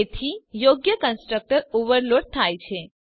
તેથી યોગ્ય constructor overload થાય છે